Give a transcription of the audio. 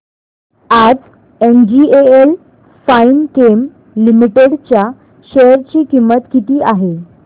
आज NGL Finechem limited च्या share ची किंमत किती आहे